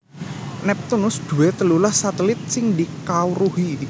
Neptunus duwé telulas satelit sing dikawruhi